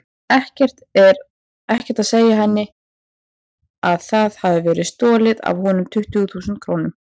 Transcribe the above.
Ekkert að segja henni að það hafi verið stolið af honum tuttugu þúsund krónum.